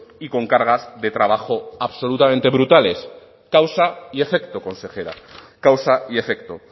y con cargas de trabajo absolutamente brutales causa y efecto consejera causa y efecto